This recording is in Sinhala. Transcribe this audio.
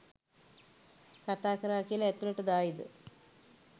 කතාකරා කියල ඇතුලට දායිද